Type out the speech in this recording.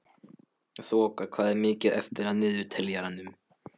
Þoka, hvað er mikið eftir af niðurteljaranum?